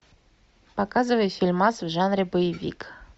показывай фильмас в жанре боевик